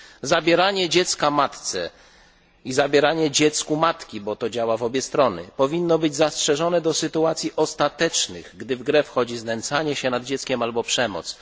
Zabieranie dziecka matce i zabieranie dziecku matki bo to działa w obie strony powinno być zastrzeżone do sytuacji ostatecznych, gdy w grę wchodzi znęcanie się nad dzieckiem albo przemoc.